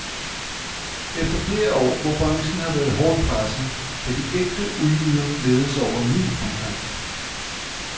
Efter flere år, hvor branchen har været hårdt presset, kan de ægte uldjyder glæde sig over ny fremgang.